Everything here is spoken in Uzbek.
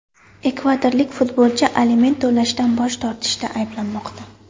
Ekvadorlik futbolchi aliment to‘lashdan bosh tortishda ayblanmoqda.